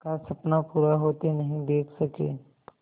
का सपना पूरा होते नहीं देख सके